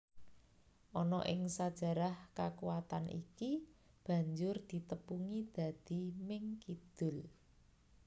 Ana ing sajarah kakuwatan iki banjur ditepungi dadi Ming Kidul